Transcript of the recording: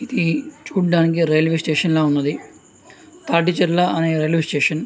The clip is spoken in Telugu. ఇది చుడానికి రైల్వే స్టేషన్ ల ఉన్నది తాటి చెర్ల రైల్వే స్టేషన్ .